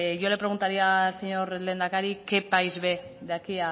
yo le preguntaría al señor lehendakari qué país ve de aquí